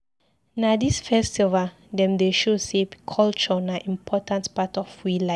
Na dis festival dem dey show sey culture na important part of we life.